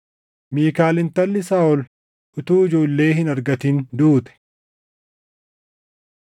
Miikaal intalli Saaʼol utuu ijoollee hin argatin duute.